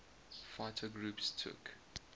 fighter groups took